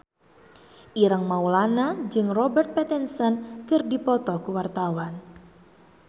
Ireng Maulana jeung Robert Pattinson keur dipoto ku wartawan